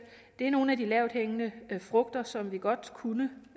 det er nogle af de lavthængende frugter som vi godt kunne